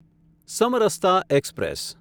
Samarasata express